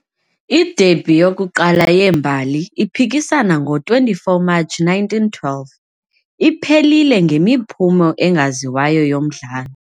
I-derby yokuqala yeembali, iphikisana ngo-24 Matshi 1912, iphelile ngemiphumo engaziwayo yomdlalo.